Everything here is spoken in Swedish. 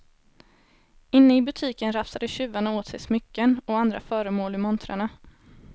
Inne i butiken rafsade tjuvarna åt sig smycken och andra föremål ur montrarna.